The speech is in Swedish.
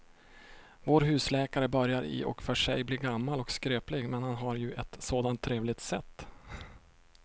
Vår husläkare börjar i och för sig bli gammal och skröplig, men han har ju ett sådant trevligt sätt!